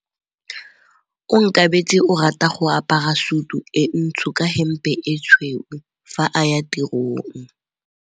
Onkabetse o rata go apara sutu e ntsho ka hempe e tshweu fa a ya tirong.